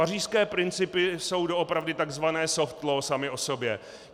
Pařížské principy jsou doopravdy takzvané soft law samy o sobě.